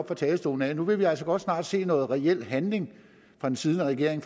fra talerstolen nu vil vi altså godt snart se noget reel handling fra den siddende regering